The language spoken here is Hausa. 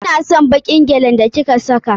Ina son baƙin gyalin da ki ka saka.